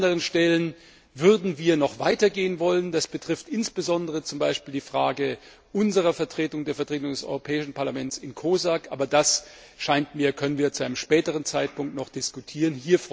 An anderen Stellen würden wir noch weiter gehen wollen, das betrifft insbesondere zum Beispiel die Frage unserer Vertretung der Vertretung des Europäischen Parlaments in der COSAC, aber das können wir noch zu einem späteren Zeitpunkt diskutieren.